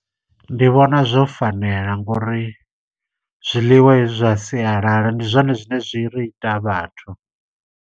Ndi vhona zwo fanela, ngauri zwiḽiwa hezwi zwa sialala, ndi zwone zwine zwi ri ita vhathu.